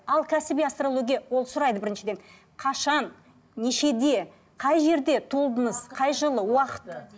ал кәсіби астрология ол сұрайды біріншіден қашан нешеде қай жерде туылдыңыз қай жылы уақыт